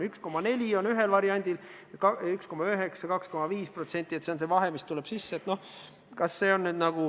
Ühel variandil on see 1,4% ning 1,9% ja 2,5% – see on see vahe, mis tuleb sisse.